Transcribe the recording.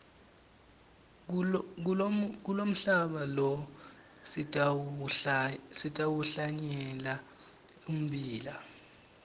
kulomhlaba lo sitawuhlanyela ummbila